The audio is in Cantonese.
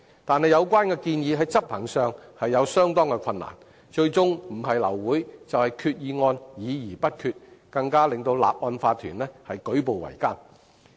但有關建議在執行上其實有相當困難，最終不是令法團會議流會，就是令決議案議而不決，使法團的運作更舉步維艱。